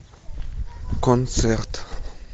концерт